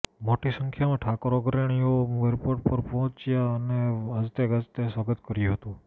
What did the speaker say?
મોટી સંખ્યામાં ઠાકોર અગ્રણીઓ એરપોર્ટ પર પહોચ્યા અને વાજતે ગાજતે સ્વાગત કર્યુ હતું